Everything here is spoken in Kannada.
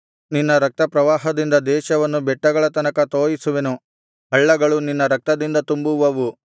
ನಿನ್ನ ರಕ್ತಪ್ರವಾಹದಿಂದ ದೇಶವನ್ನು ಬೆಟ್ಟಗಳ ತನಕ ತೋಯಿಸುವೆನು ಹಳ್ಳಗಳು ನಿನ್ನ ರಕ್ತದಿಂದ ತುಂಬುವವು